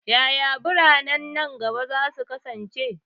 Yaya biranen nan gaba za su kasance?